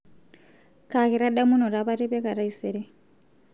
kaa kitadamunoto apa atipika taisere